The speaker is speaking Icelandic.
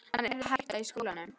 Hann yrði að hætta í skólanum!